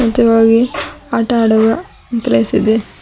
ಇದು ಆಗಿ ಆಟ ಆಗುವ ಪ್ಲೇಸ್ ಇದೆ.